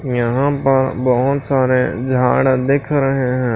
यहां पर बहुत सारे झाड़ दिख रहे हैं।